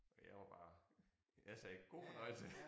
Og jeg var bare jeg sagde god fornøjelse